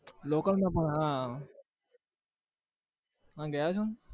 local માં પણ હા તમે ગયા છો?